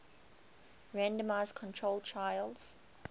randomized controlled trials